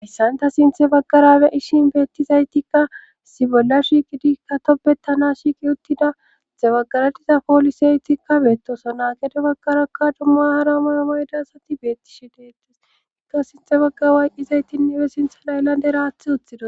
Assanta sinthe baggarabe ishin beettizaytikka sibolla shiiqidi ka topbetana shiiqi uttidaitte baggara diza poolisaytikkabeettoso naagede baggarakka dummaara moyomoyda asati beettishe deettes ikka sinthe bagga wayqqizaytinne be sintha layllade raathi utthido